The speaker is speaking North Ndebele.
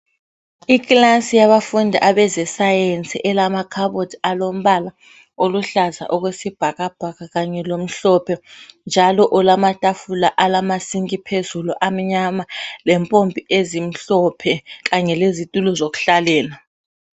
Ikilasi yabafundi abeze science, elamakhabothi alombala oluhlaza okwesibhakabhaka kanje lomhlophe, njalo olama tafula alama sink phezulu amnyama lempompi ezimhlophe kanye lezitulo zokuhlalela.